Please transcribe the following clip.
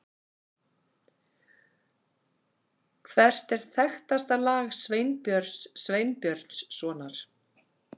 Hvert er þekktasta lag Sveinbjörns Sveinbjörnssonar?